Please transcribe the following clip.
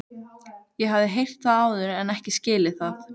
Ég hafði heyrt það áður en ekki skilið það.